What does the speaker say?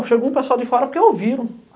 Chegou um pessoal de fora porque ouviram.